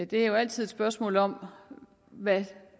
det er jo altid et spørgsmål om hvad